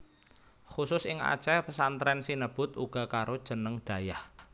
Khusus ing Aceh pesantren sinebut uga karo jeneng dayah